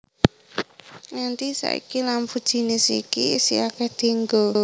Nganti saiki lampu jinis iki isih akéh dienggo